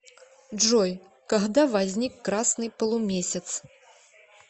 джой когда возник красный полумесяц